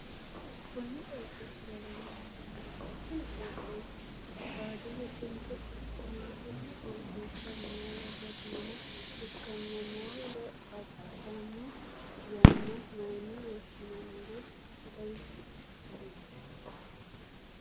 Konni qooxeesira leelanori maati? Kunni qooxeesi baadiyetenso quchumaho? Konne qooxeessa moole gantinoha ikanna moole batidhano yanna mayine woshinnanniro xawise kuli?